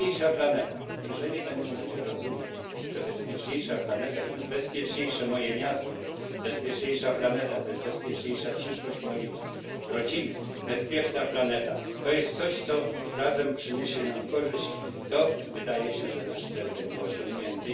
Bezpieczniejsza planeta jeżeli ludzie będą rozumieć, że bezpieczniejsza planeta to jest bezpieczniejsze moje miasto, bezpieczniejsza planeta to jest bezpieczniejsza przyszłość mojej rodziny, bezpieczna planeta to jest coś, co razem przyniesie nam korzyść, to wydaje się, że nasz cel będzie osiągnięty.